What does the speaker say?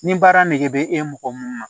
Ni baara nege bɛ e mɔgɔ mun na